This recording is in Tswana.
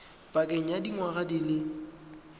pakeng ya dingwaga di le